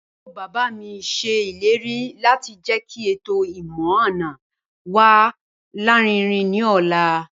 Àbúrò bàbá mi ṣe ìlérí láti jẹ́kí ètò ìmọ̀-àna wa larinrin ní ọ̀la